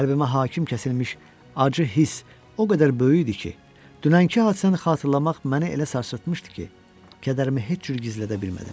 Qəlbimə hakim kəsilmiş acı hiss o qədər böyük idi ki, dünənki hadisəni xatırlamaq məni elə sarsıtmuşdu ki, kədərimi heç cür gizlədə bilmədim.